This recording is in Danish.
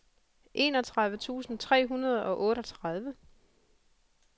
enogtredive tusind tre hundrede og otteogtredive